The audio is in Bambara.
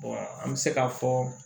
an bɛ se k'a fɔ